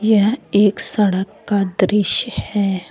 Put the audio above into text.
यह एक सड़क का दृश्य है।